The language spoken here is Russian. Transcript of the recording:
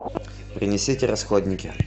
принесите расходники